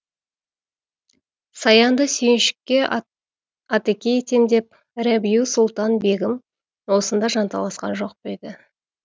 саянды сүйіншікке атеке етем деп рабиу сұлтан бегім осында жанталасқан жоқ па еді